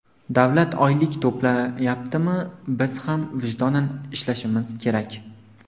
Davlat oylik to‘layaptimi, biz ham vijdonan ishlashimiz kerak.